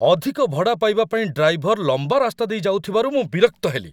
ଅଧିକ ଭଡ଼ା ପାଇବା ପାଇଁ ଡ୍ରାଇଭର ଲମ୍ବା ରାସ୍ତା ଦେଇ ଯାଉଥିବାରୁ ମୁଁ ବିରକ୍ତ ହେଲି।